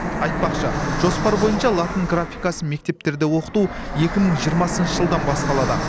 айтпақшы жоспар бойынша латын графикасын мектептерде оқыту екі мың жиырмасыншы жылдан басталады